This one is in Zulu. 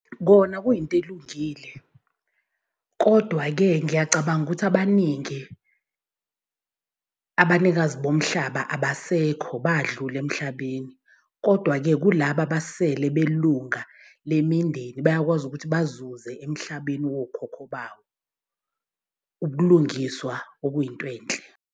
Kona kuyinto elungile, kodwa-ke ngiyacabanga ukuthi abaningi abanikazi bomhlaba abasekho badlula emhlabeni. Kodwa-ke kulaba abasele belunga lemindeni, bayakwazi ukuthi bazuze emhlabeni wokhokho bawo. Ubulungiswa okuyintwenhle.